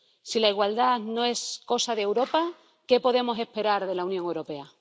Si la igualdad no es cosa de Europa, ¿qué podemos esperar de la Unión Europea?